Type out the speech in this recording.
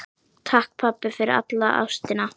Takk, pabbi, fyrir alla ástina.